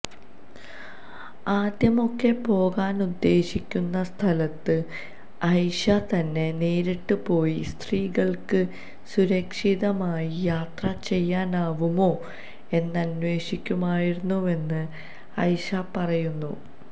ആദ്യമൊക്കെ പോകാനുദ്ദേശിക്കുന്ന സ്ഥലത്ത് ഐഷ തന്നെ നേരിട്ട് പോയി സ്ത്രീകൾക്ക് സുരക്ഷിതമായി യാത്ര ചെയ്യാനാവുമോ എന്നന്വേഷിക്കുമായിരുന്നുവെന്ന് ഐഷ പറയുന്നു